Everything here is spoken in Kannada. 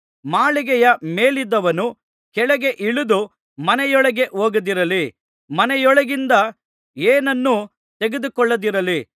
ಮಾಳಿಗೆಯ ಮೇಲಿದ್ದವನು ಕೆಳಗೆ ಇಳಿದು ಮನೆಯೊಳಕ್ಕೆ ಹೋಗದಿರಲಿ ಮನೆಯೊಳಗಿಂದ ಏನನ್ನೂ ತೆಗೆದುಕೊಳ್ಳದಿರಲಿ